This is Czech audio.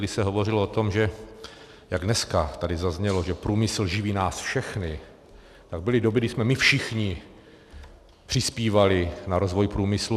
Když se hovořilo o tom, že jak dneska tady zaznělo, že průmysl živí nás všechny, tak byly doby, když jsme my všichni přispívali na rozvoj průmyslu.